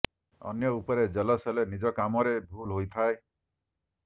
ଅନ୍ୟ ଉପରେ ଯେଲସ୍ ହେଲେ ନିଜ କାମ ରେ ଭୁଲ ହୋଇଥାଏ